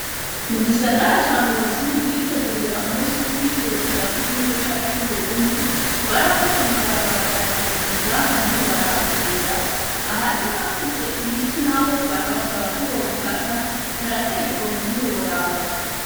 Mu gisagara ca Ngozi mukwitegurira umusi w'ukwikukira w'igihugu cacu c'Uburundi, barafashe amabarabara barayasiga ahandi barahakubura, ahari hafise ibiti naho barabasaba ko bobikata, harateye igomwe ntiworaba.